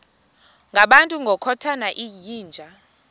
ngabantu ngokukhothana yinja